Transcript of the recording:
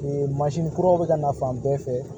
kuraw be ka na fan bɛɛ fɛ